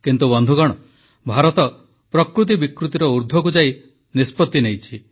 କିନ୍ତୁ ବନ୍ଧୁଗଣ ଭାରତ ପ୍ରକୃତି ବିକୃତିର ଊର୍ଦ୍ଧ୍ବକୁ ଯାଇ ନିଷ୍ପତ୍ତି ନେଇଛି